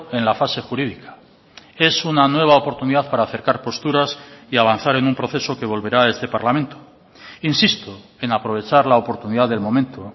en la fase jurídica es una nueva oportunidad para acercar posturas y avanzar en un proceso que volverá a este parlamento insisto en aprovechar la oportunidad del momento